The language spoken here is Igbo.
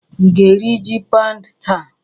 Ị ga-eri ji paụnd taa?